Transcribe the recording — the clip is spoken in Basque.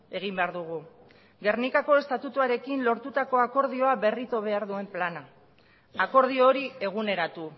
egin behar dugu gernikako estatutuarekin lortutako akordioa berritu behar duen plana akordio hori eguneratu